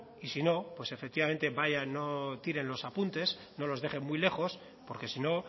y si no pues efectivamente no tiren los apuntes no los dejen muy lejos porque si no